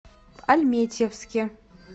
альметьевске